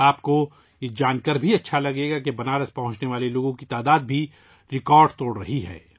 آپ کو یہ جان کر بھی خوشی ہوگی کہ بنارس پہنچنے والوں کی تعداد بھی ریکارڈ توڑ رہی ہے